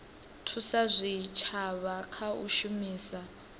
thusa zwitshavha kha u shumisa